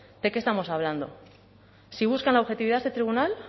de qué estamos hablando si buscan la objetividad de este tribunal